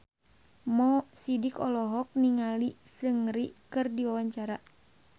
Mo Sidik olohok ningali Seungri keur diwawancara